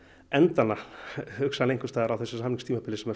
enda hana á þessu samningstímabili sem